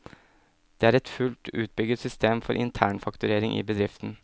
Det er et fullt utbygget system for internfakturering i bedriften.